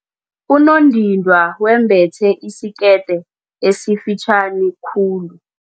Unondindwa wembethe isikete esifitjhani khulu.